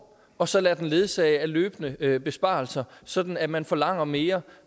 og så lader den blive ledsaget af løbende besparelser sådan at man forlanger mere